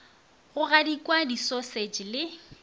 go gadikwa di sausage le